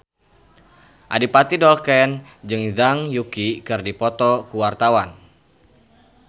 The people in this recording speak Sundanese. Adipati Dolken jeung Zhang Yuqi keur dipoto ku wartawan